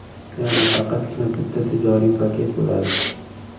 Ya’ni faqatgina bitta tijoriy paket bo‘ladi.